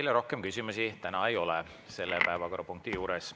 Teile rohkem küsimusi täna ei ole selle päevakorrapunkti juures.